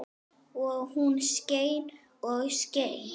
Og hún skein og skein.